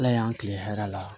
Ala y'an kilen hɛrɛ la